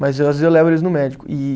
Mas às vezes eu levo eles no médico e.